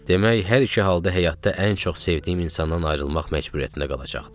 Demək hər iki halda həyatda ən çox sevdiyim insandan ayrılmaq məcburiyyətində qalacaqdım.